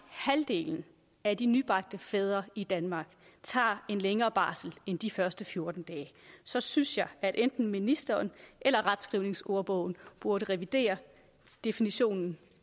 halvdelen af de nybagte fædre i danmark tager en længere barsel end de første fjorten dage så synes jeg at enten ministeren eller retskrivningsordbogen burde revidere definitionen